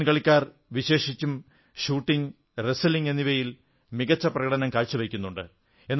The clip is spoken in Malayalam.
ഇന്ത്യൻ കളിക്കാർ വിശേഷിച്ചും ഷൂട്ടിംഗ് റെസ്റ്റ്ലിംഗ് എന്നിവയിൽ മികച്ചപ്രകടനം കാഴ്ചവയ്ക്കുന്നുണ്ട്